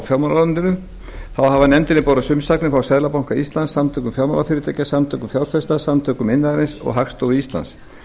fjármálaráðuneytinu þá hafa nefndinni borist umsagnir frá seðlabanka íslands samtökum fjármálafyrirtækja samtökum fjárfesta samtökum iðnaðarins og hagstofu íslands